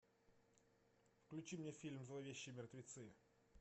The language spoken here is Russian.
включи мне фильм зловещие мертвецы